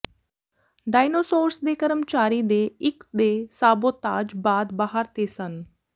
dinosaurs ਦੇ ਕਰਮਚਾਰੀ ਦੇ ਇੱਕ ਦੇ ਸਾਬੋਤਾਜ ਬਾਅਦ ਬਾਹਰ ਤੇ ਸਨ